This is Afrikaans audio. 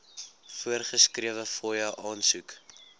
voorgeskrewe fooie aansoek